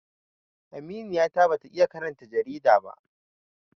Aminiya ta ba ta iya karanta jarida ba